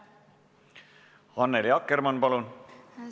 Annely Akkermann, palun!